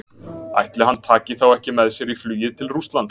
Ætli hann taki þá ekki með sér í flugið til Rússlands?